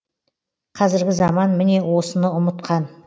қазіргі заман міне осыны ұмытқан